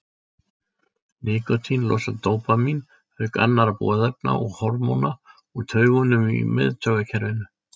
Nikótín losar dópamín auk annarra boðefna og hormóna úr taugungum í miðtaugakerfinu.